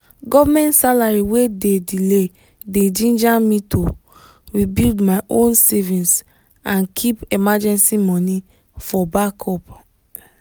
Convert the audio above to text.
government salary wey dey delay dey ginger me to build my own savings and keep emergency money for backup.